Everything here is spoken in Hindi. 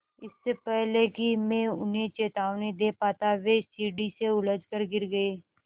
इससे पहले कि मैं उन्हें चेतावनी दे पाता वे सीढ़ी से उलझकर गिर गए